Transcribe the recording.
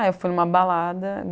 eu fui em uma balada.